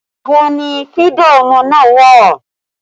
Ibo ni fídà ọmọ náà wà?